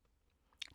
DR1